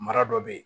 Mara dɔ bɛ yen